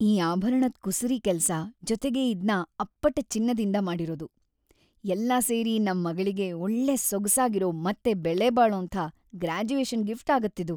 ಈ ಆಭರಣದ್ ಕುಸುರಿ ಕೆಲ್ಸ ಜೊತೆಗೆ ಇದ್ನ ಅಪ್ಪಟ ಚಿನ್ನದಿಂದ ಮಾಡಿರೋದು, ಎಲ್ಲ ಸೇರಿ ನಮ್‌ ಮಗಳಿಗೆ‌ ಒಳ್ಳೆ ಸೊಗ್ಸಾಗಿರೋ ಮತ್ತೆ ಬೆಲೆಬಾಳೋಂಥ ಗ್ರಾಜುಯೇಷನ್‌ ಗಿಫ್ಟ್ ಆಗತ್ತಿದು.